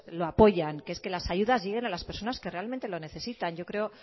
lo apoyan que es que las ayudas lleguen a las personas que realmente lo necesitan yo creo